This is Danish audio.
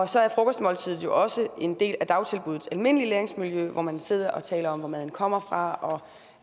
så er frokostmåltidet jo også en del af dagtilbuddets almindelige læringsmiljø hvor man sidder og taler om hvor maden kommer fra og